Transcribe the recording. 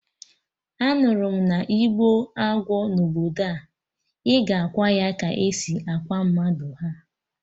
Anụrụ m na-igbuo agwọ na obodo nwa, ị ga akwa ya ka esi akwa mmadụ, ha!